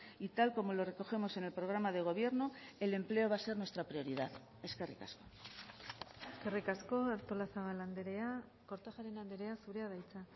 y tal como lo recogemos en el programa de gobierno el empleo va a ser nuestra prioridad eskerrik asko eskerrik asko artolazabal andrea kortajarena andrea zurea da hitza